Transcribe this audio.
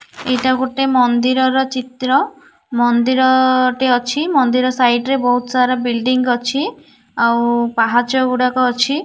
ଏଇଟା ଗୋଟେ ମନ୍ଦିର ର ଚିତ୍ର ମନ୍ଦିର ଟେ ଅଛି ମନ୍ଦିର ସାଇଟ୍ ବହୁତ୍ ସାରା ବିଲଡିଂ ଅଛି ଆଉ ପାହାଚ ଗୁଡାକ ଅଛି।